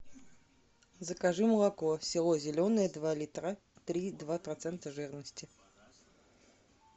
закажи молоко село зеленое два литра три и два процента жирности